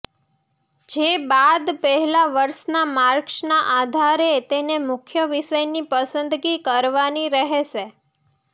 જે બાદ પહેલા વર્ષના માર્કસના આધારે તેને મુખ્ય વિષયની પસંદગી કરવાની રહેશે